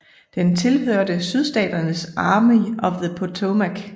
Den tilhørte Sydstaternes Army of the Potomac